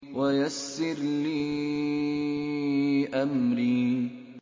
وَيَسِّرْ لِي أَمْرِي